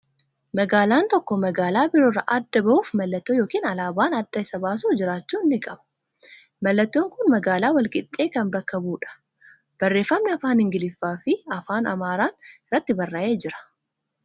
Magaalaan tokko magaalaa biroo irraa adda ba'uuf mallattoo yookiin alaabaan adda isa baasu jiraachuu ni qaba. Mallattoon kun magaalaa Walqixxee kan bakka bu'udha. Barreeffamni afaan Ingiliffaa fi Afaan Amaaraan irratti barraa'ee jira.